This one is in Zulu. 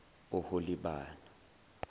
oholibana